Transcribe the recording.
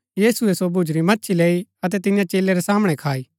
यीशुऐ सो भुज्‍जुरी मच्छी लैई अतै तियां चेलै रै सामणै खाई